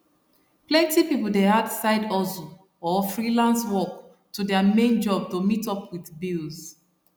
plenty people dey add side hustle or freelance work to their main job to meet up with bills